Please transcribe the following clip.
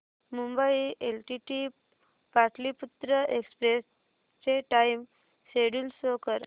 Mumbai LTT Pataliputra express चे time schedule show कर